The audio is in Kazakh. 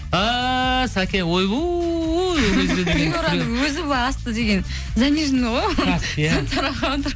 а сәке ойбой приораның өзі былай асты деген заниженный ғой